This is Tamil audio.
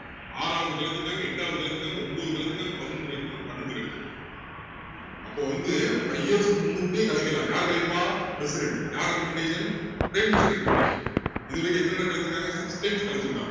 ஆறாவது கலைச்சுருக்காங்க எட்டாவது கலைச்சுருக்காங்க ஒன்பது கலைச்சுருக்காங்க பதினொண்ணு கலைச்சுருக்காங்க பன்னிரெண்டு கலைச்சுருக்காங்க அப்போ வந்து five years க்கு முன்னுக்கூட்டியே கலைக்கலாம் யாரு கலைப்பா president யாரு recomendation prime minister recommendation இது வரைக்கும் எத்தனை தடவை கலைச்சுருக்காங்க six times கலைச்சுருக்காங்க